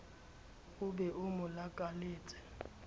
o be o mo lakaletse